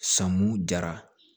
Samu jara